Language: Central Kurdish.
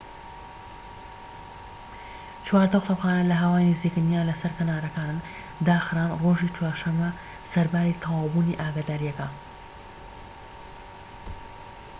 چواردە قوتابخانە لە هاوای نزیکن یان لەسەر کەناراوەکانن داخران ڕۆژی چوارشەمە سەرباری تەواوبوونی ئاگاداریەکە